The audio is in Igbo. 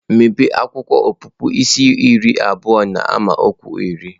Mepee akwụkwọ Ọpụpụ isi iri abụọ n’amaokwu iri.